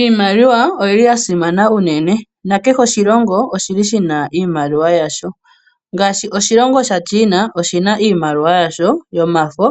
Iimaliwa oyili ya simana unene, nakehe oshilongo, oshili shina iimaliwa yasho, ngaashi oshilongo shAaChina oshina iimaliwa yasho yomafo,